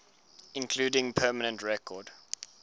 including permanent record